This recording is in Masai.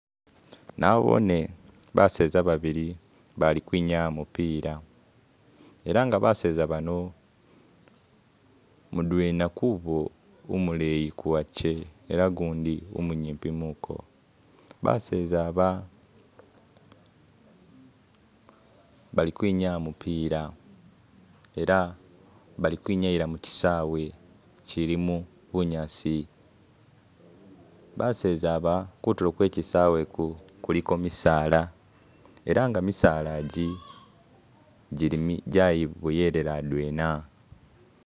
Naboone baseza babili bali kwinyaya mupila ela nga baseza bano mudwena kuubo umuleyi ku wokye ela ugundi umunyimpimu ko, baseza aba bali kwinyaya mupila ela bali kwinyayila mukyisawa kyilimo bunyasi, baseza aba, kutulo kwe kyisawe eku, kuliko misala ela nga misala egyi gyayiboyelela adwena.